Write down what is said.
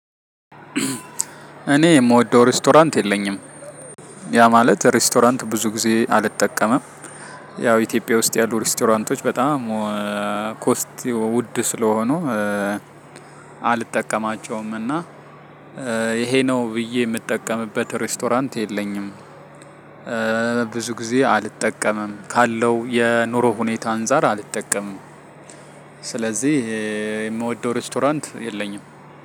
እኔ የምወደው ሬስቶራንት የለኝም። ያ ማለት ሬስቶራንት ብዙ ጊዜ አልጠቀመም። ያው ኢትዮጵያ ውስጥ ያሉ ሬስቶራንቶች በጣም ኮስት ውድ ስለሆኑ አልጠቀማቸውም። እና ይሄ ነው ብዬ የምጠቀምበት ሬስቶራንት የለኝም። ብዙ ጊዜ አልጠቀምም ካለው የኑሮ ሁኔታ አንፃር አልጠቀምም። ስለዚህ የምወደው ሬስቶራንት የለኝም።